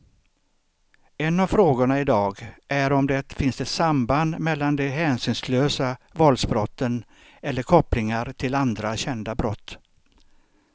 En av frågorna i dag är om det finns ett samband mellan de hänsynslösa våldsbrotten eller kopplingar till andra kända brott.